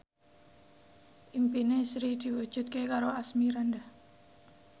impine Sri diwujudke karo Asmirandah